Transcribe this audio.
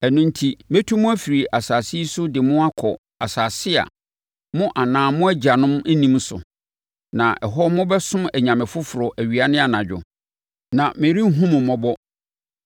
Ɛno enti, mɛtu mo afiri saa asase yi so de mo akɔ asase a, mo anaa sɛ mo agyanom nnim so, na ɛhɔ mobɛsom anyame foforɔ awia ne anadwo, na merenhunu mo mmɔbɔ.’